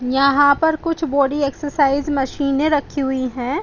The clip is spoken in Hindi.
यहाँ पे कुछ बॉडी एक्सरसाइज मशीने रखी हुई है।